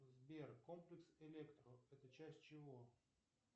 сбер комплекс электро это часть чего